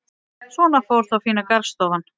Svona fór þá fína garðstofan.